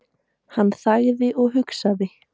Hann þagði og hugsaði.